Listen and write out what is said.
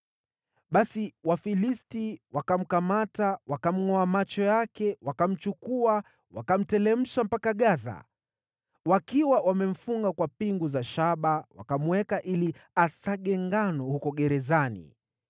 Basi Wafilisti wakamkamata, wakamngʼoa macho yake, wakamchukua wakamteremsha mpaka Gaza. Wakiwa wamemfunga kwa pingu za shaba, wakamweka ili asage ngano huko gerezani.